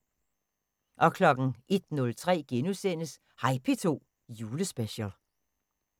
01:03: Hej P2 Julespecial *